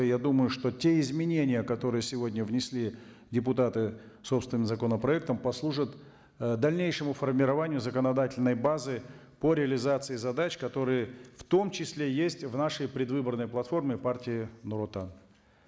я думаю что те изменения которые сегодня внесли депутаты собственным законопроектом послужат ы дальнейшему формированию законодательной базы по реализации задач которые в том числе есть в нашей предвыборной платформе партии нуротан